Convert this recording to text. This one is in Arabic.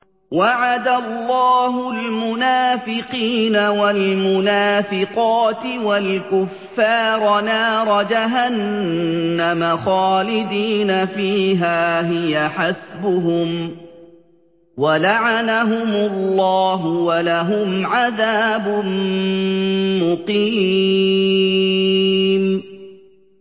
وَعَدَ اللَّهُ الْمُنَافِقِينَ وَالْمُنَافِقَاتِ وَالْكُفَّارَ نَارَ جَهَنَّمَ خَالِدِينَ فِيهَا ۚ هِيَ حَسْبُهُمْ ۚ وَلَعَنَهُمُ اللَّهُ ۖ وَلَهُمْ عَذَابٌ مُّقِيمٌ